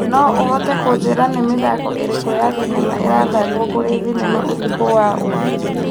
no ũhote kũnjĩira ni mĩthako ĩrikũ ya thĩnema ĩrathakwo kũri thĩnema ũtukũ wa ũmũthi